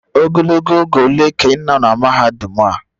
Ogologo oge ole ka ị nọ na mahadum a?